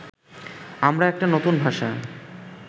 আমরা একটা নতুন ভাষা